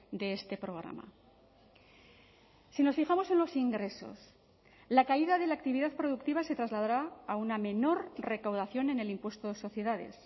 de este programa si nos fijamos en los ingresos la caída de la actividad productiva se trasladará a una menor recaudación en el impuesto de sociedades